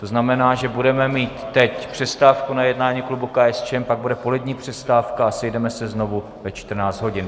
To znamená, že budeme mít teď přestávku na jednání klubu KSČM, pak bude polední přestávka a sejdeme se znovu ve 14 hodin.